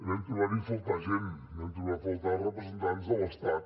vam trobar hi a faltar gent vam trobar hi a faltar representants de l’estat